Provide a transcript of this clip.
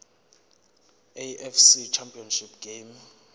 afc championship game